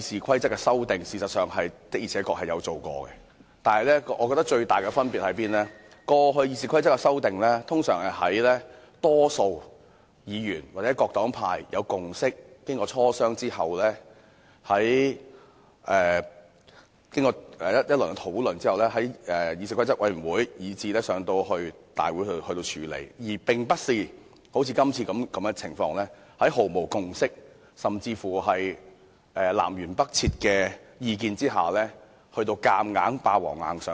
過去確實曾修改《議事規則》，但我認為最大的分別是，過去的《議事規則》修訂通常是在大多數議員或黨派已有共識，經過磋商及討論後，由議事規則委員會提交大會處理，而並非好像今次般，在毫無共識，意見甚至南轅北轍的情況下"霸王硬上弓"。